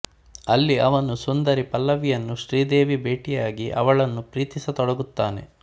ಅಲ್ಲಿ ಅವನು ಸುಂದರಿ ಪಲ್ಲವಿಯನ್ನು ಶ್ರೀದೇವಿ ಭೇಟಿಯಾಗಿ ಅವಳನ್ನು ಪ್ರೀತಿಸತೊಡಗುತ್ತಾನೆ